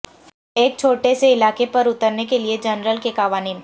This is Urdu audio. ایک چھوٹے سے علاقے پر اترنے کے لئے جنرل کے قوانین